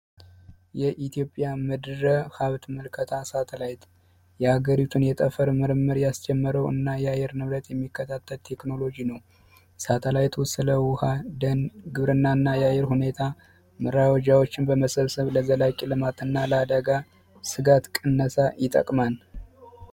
የኢትዮጵያ መድረ ሀብት ሳተላይት የአገሪቱን የጠፈር ምርምር ያስጀመረው እና የአየር ንብረት የሚከታተል ቴክኖሎጂ ነው ስለ ውሀ ደም ግብርናና የአየር ሁኔታ ዎችን በመሰረተ ለዘላቂ ልማትና ለአደጋ ስጋት ነጻ ይጠቅማል